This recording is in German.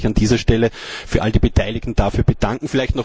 Ich möchte mich an dieser Stelle für all die Beteiligten dafür bedanken.